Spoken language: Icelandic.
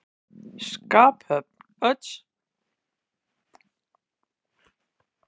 Skaphöfn Odds sjálfs var einstök.